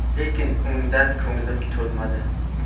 Lekin undan ko‘nglim to‘lmadi.